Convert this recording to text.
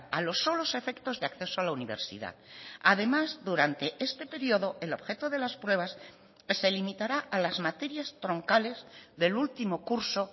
a los solos efectos de acceso a la universidad además durante este periodo el objeto de las pruebas se limitará a las materias troncales del último curso